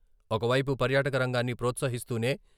ఒకవైపు పర్యాటక రంగాన్ని ప్రోత్సహిస్తూనే...